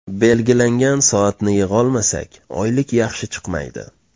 Belgilangan soatni yig‘olmasak, oylik yaxshi chiqmaydi.